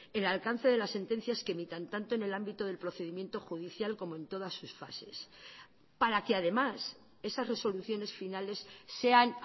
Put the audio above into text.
el alcance de las sentencias que emitan tanto en el ámbito del procedimiento judicial como en todas sus fases para que además esas resoluciones finales sean